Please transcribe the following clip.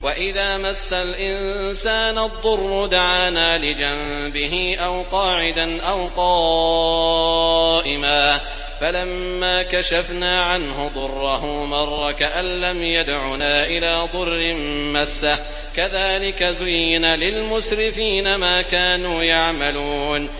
وَإِذَا مَسَّ الْإِنسَانَ الضُّرُّ دَعَانَا لِجَنبِهِ أَوْ قَاعِدًا أَوْ قَائِمًا فَلَمَّا كَشَفْنَا عَنْهُ ضُرَّهُ مَرَّ كَأَن لَّمْ يَدْعُنَا إِلَىٰ ضُرٍّ مَّسَّهُ ۚ كَذَٰلِكَ زُيِّنَ لِلْمُسْرِفِينَ مَا كَانُوا يَعْمَلُونَ